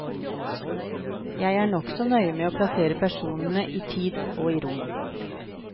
Jeg er nokså nøye med å plassere personene i tid og i rom.